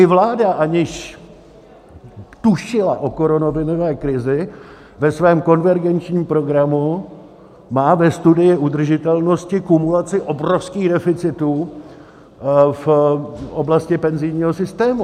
I vláda, aniž tušila o koronavirové krizi, ve svém konvergenčním programu má ve studii udržitelnosti kumulaci obrovských deficitů v oblasti penzijního systému.